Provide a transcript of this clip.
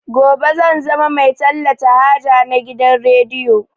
Gobe zan zama mai talata haja na gidan rediyo